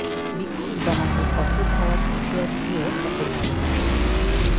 বিক্ষোভ দমাতে কঠোর হওয়ার হুঁশিয়ারি দিয়েও সফল হয়নি তারা